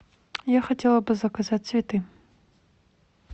я хотела бы заказать цветы